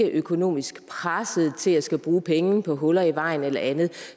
økonomisk presset til at skulle bruge penge på huller i vejen eller andet